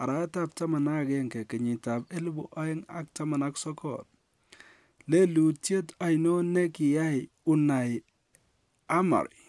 30/11/2019, lelutiet oinon ne kiyai Unai Emery?